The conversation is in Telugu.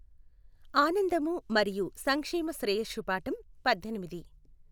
ఆనందము మరియు సంక్షేమ శ్రేయస్సు పాఠం పద్దెనిమిది.